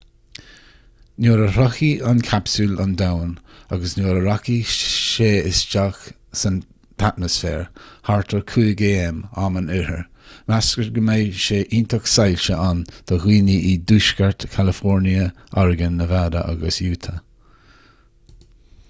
nuair a shroichfidh an capsúl an domhan agus nuair a rachaidh sé isteach san atmaisféar thart ar 5am am an oirthir meastar go mbeidh seó iontach soilse ann do dhaoine i dtuaisceart california oregon nevada agus utah